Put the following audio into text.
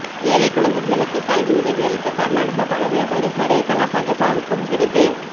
ஏழை குழந்தைகளுக்கு கல்வி உதவி அளித்த கர்நாடக பழ வியாபாரி ஹரேகலா ஹஜப்பாவுக்கும் விருது